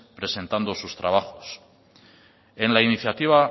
presentando sus trabajos en la iniciativa